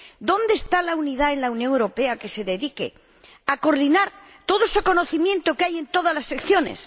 ¿Dónde está la unidad en la Unión Europea que se dedique a coordinar todo ese conocimiento que hay en todas las secciones?